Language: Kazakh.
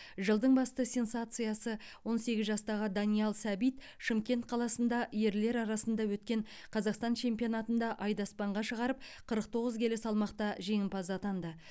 жылдың басты сенсациясы он сегіз жастағы даниял сәбит шымкент қаласында ерлер арасында өткен қазақстан чемпионатында айды аспанға шығарып қырық тоғыз келі салмақта жеңімпаз атанды